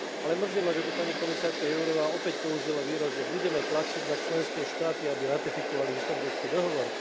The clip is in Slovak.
Ale mrzí ma, že tu pani komisárka Jourová opäť použila výraz, že budeme tlačiť na členské štáty, aby ratifikovali Istanbulský dohovor.